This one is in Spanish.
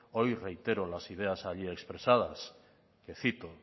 hoy reitero las ideas allí expresadas le cito